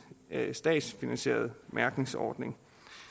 statsfinansieret mærkningsordning